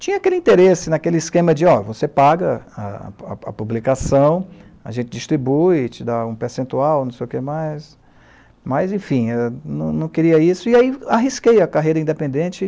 Tinha aquele interesse, naquele esquema de, ó, você paga a a a publicação, a gente distribui, te dá um percentual, não sei o que mais, mas, enfim, eu não não queria isso, e aí arrisquei a carreira independente